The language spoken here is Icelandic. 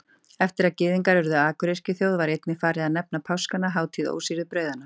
Eftir að Gyðingar urðu akuryrkjuþjóð var einnig farið að nefna páskana hátíð ósýrðu brauðanna.